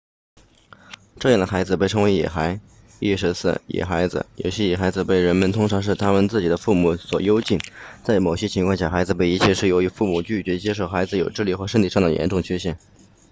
这样的孩子被称为野孩意思是野孩子有些野孩子被人们通常是他们自己的父母所幽禁在某些情况下孩子被遗弃是由于父母拒绝接受孩子有智力或身体上的严重缺陷